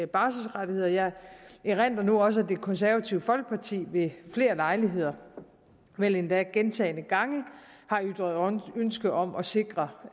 barselsrettigheder jeg erindrer også at det konservative folkeparti ved flere lejligheder vel endda gentagne gange har ytret ønske om at sikre